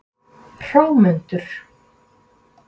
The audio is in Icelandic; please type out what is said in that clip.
Hrómundur